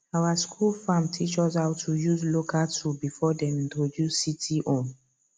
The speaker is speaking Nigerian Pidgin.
our school farm teach us how to use local tool before dem introduce city own